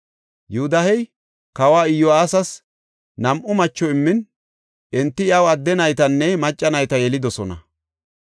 Yoodahey kawa Iyo7aasas nam7u macho immin enti iyaw adde naytanne macca nayta yelidosona.